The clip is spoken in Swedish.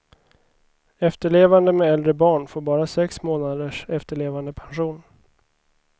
Efterlevande med äldre barn får bara sex månaders efterlevandepension.